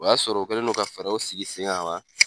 O y'a sɔrɔ o kɛlen no ka fɛɛrɛw sigi sen kan ka ban.